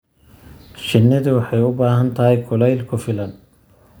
Shinnidu waxay u baahan tahay kuleyl ku filan.